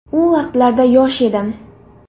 U vaqtlarda yosh edim.